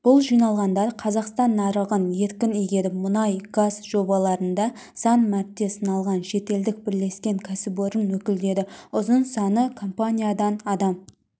бұл жиналғандар қазақстан нарығын еркін игеріп мұнай-газ жобаларында сан мәрте сыналған шетелдік бірлескен кәсіпорын өкілдері ұзын саны компаниядан адам